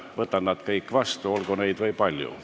Võtan nad kõik vastu, olgu neid või palju.